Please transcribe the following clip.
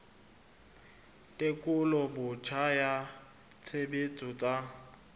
tekolo botjha ya tshebetso tsa